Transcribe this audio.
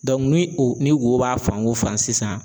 ni o ni wo b'a fan o fan sisan